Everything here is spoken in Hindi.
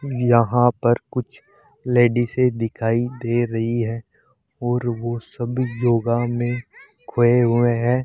यहां पर कुछ लेडिसे से दिखाई दे रही है और ओ सभी योग में खोए हुए हैं।